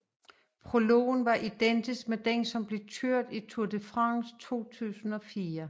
Prologen var identisk med den som blev kørt i Tour de France 2004